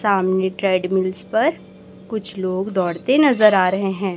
सामने ट्रेडमिलस् पर कुछ लोग दौड़ते नजर आ रहे हैं।